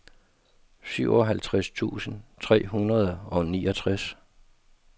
syvoghalvtreds tusind tre hundrede og niogtres